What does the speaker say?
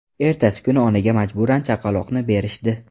Ertasi kuni onaga majburan chaqaloqni berishdi.